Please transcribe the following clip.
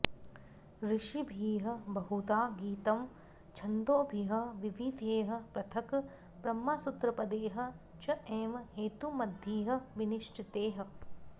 ऋषिभिः बहुधा गीतं छन्दोभिः विविधैः पृथक् ब्रह्मसूत्रपदैः च एव हेतुमद्भिः विनिश्चितैः